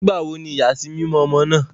Nígbàwò ní iyasimimọ ọmọ náà?